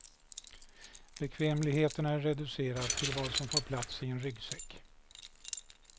Bekvämligheten är reducerad till vad som får plats i en ryggsäck.